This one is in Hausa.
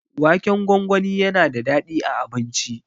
Waken gwangwani yana da daɗi a abinci.